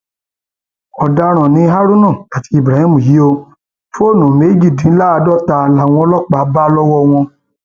ọdaràn ni haruna àti ibrahim yìí ò fóònù méjìdínláàádọta làwọn ọlọpàá bá lọwọ wọn